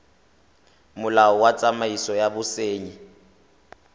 molao wa tsamaiso ya bosenyi